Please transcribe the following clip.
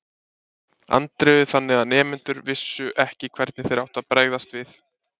Andreu þannig að nemendurnir vissu ekki hvernig þeir áttu að bregðast við.